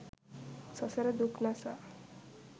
සසර දුක් නසා